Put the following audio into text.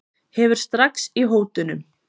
Hefur strax í hótunum.